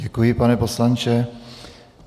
Děkuji, pane poslanče.